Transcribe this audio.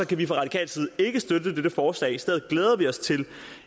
kan vi fra radikal side ikke støtte dette forslag i stedet glæder vi os til